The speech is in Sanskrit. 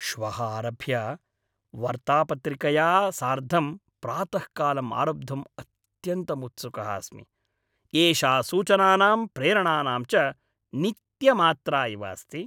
श्वः आरभ्य वर्तापत्रिकया सार्धं प्रातःकालम् आरब्धुम् अत्यन्तम् उत्सुकः अस्मि। एषा सूचनानां, प्रेरणानां च नित्यमात्रा इव अस्ति।